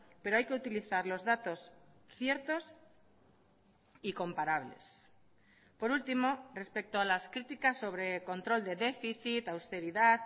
pero hay que utilizar los datos ciertos y comparables por último respecto a las criticas sobre control de déficit austeridad